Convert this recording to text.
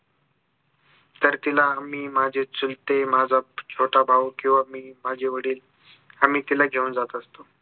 तर तिला मी माझे चुलते माझा छोटा भाऊ किंवा मी माझे वडील आम्ही तिला घेऊन जात असतो